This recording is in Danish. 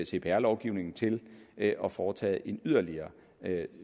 cpr lovgivningen til at at foretage en yderligere